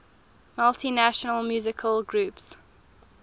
multinational musical groups